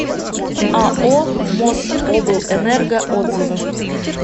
ао мособлэнерго отзывы